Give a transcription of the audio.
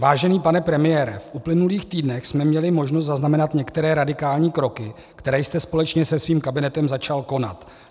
Vážený pane premiére, v uplynulých týdnech jsme měli možnost zaznamenat některé radikální kroky, které jste společně se svým kabinetem začal konat.